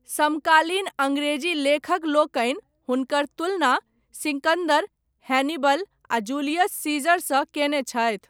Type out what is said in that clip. समकालीन अङ्ग्रेजी लेखक लोकनि हुनकर तुलना सिकंदर, हैनिबल आ जूलियस सीजर सँ कयने छथि।